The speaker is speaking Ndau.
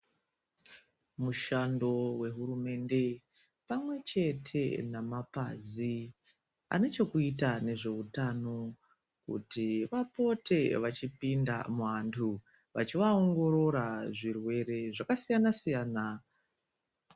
Mushando wehurumende pamwe chete nemapazi anechekuita nezveutano kuti vapote vachipinda muantu vavhivaongorora zvirwere zvakasiyana siyana.